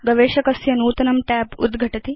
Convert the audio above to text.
गवेषकस्य नूतनं tab उद्घटति